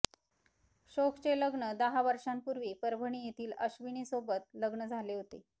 शोकचे लग्न दहा वर्षांपूर्वी परभणी येथील अश्विनीसोबत लग्न झाले होते